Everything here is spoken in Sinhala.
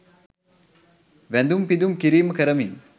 වැඳුම් පිඳුම් කිරීම කරමින්